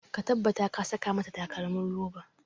Ka tabbata ka saka mata takalmin roba!